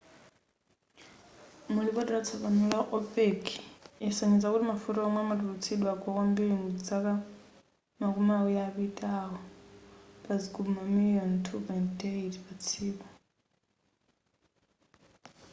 mulipoti latsopano la opec yasonyeza kuti mafuta womwe amatulutsidwa agwa kwambiri mudzaka makumi awiri apitawo pa zigubu mamiliyoni 2.8 patsiku